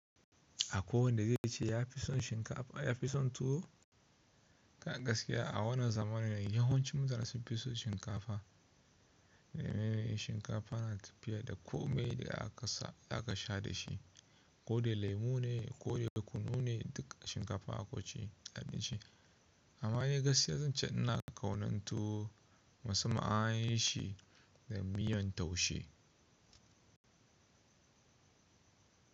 Akwai wanda zaice ya fi son shinkafa, ya fi son tuwo. Ga gaskiya a wannan zamanin yawancin mutane sun fi so shinkafa. Shinkafa na tafiya da kome da aka sha da shi. Ko dai lemu ne ko dai kunu ne duk shinkafa akwaice abinci. Amma dai gaskiya zan ce ina kaunan tuwo musamman an yi shi da miyan taushe.